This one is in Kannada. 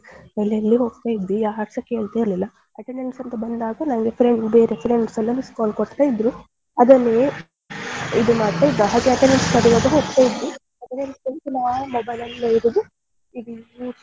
ಎಲ್ಲೆಲ್ಲೋ ಹೋಗ್ತಾ ಇದ್ವಿ ಯಾರುಸ ಕೇಳ್ತಾ ಇರ್ಲಿಲ್ಲ attendance ಅಂತ ಬಂದಾಗ ನಂಗೆ friend ಬೇರೆ friends ಎಲ್ಲ missed call ಕೊಡ್ತಿದ್ರು ಅದನ್ನೇ ಇದು ಮಾಡ್ತಾ ಹಾಗೆ attendance ಹೋಗ್ತಾ ಇದ್ವಿ ದಿನಾಲು mobile ಅಲ್ಲಿ ಇರುದು,